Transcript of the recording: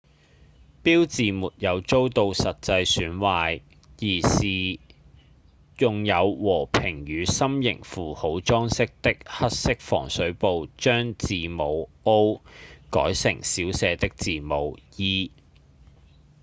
標誌沒有遭到實際損壞而是用有和平與心型符號裝飾的黑色防水布將字母「o」改成小寫的字母「e」